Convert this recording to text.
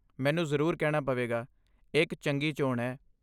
ਮੈਨੂੰ ਜ਼ਰੂਰ ਕਹਿਣਾ ਪਵੇਗਾ, ਇਹ ਇੱਕ ਚੰਗੀ ਚੋਣ ਹੈ।